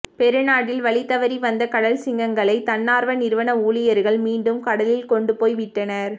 பெரு நாட்டில் வழிதவறி வந்த கடல் சிங்கங்களை தன்னார்வ நிறுவன ஊழியர்கள் மீண்டும் கடலில் கொண்டுபோய் விட்டனர்